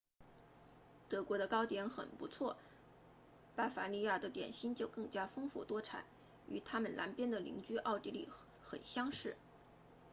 德国的糕点很不错巴伐利亚的点心就更加丰富多彩与他们南边的邻居奥地利很相似